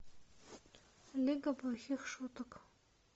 лига плохих шуток